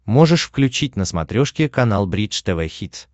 можешь включить на смотрешке канал бридж тв хитс